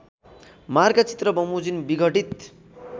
मार्गचित्र बमोजिम विघटित